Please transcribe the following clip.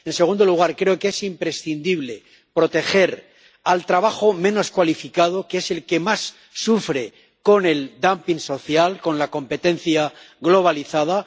En segundo lugar, creo que es imprescindible proteger el trabajo menos cualificado, que es el que más sufre con el dumping social, con la competencia globalizada.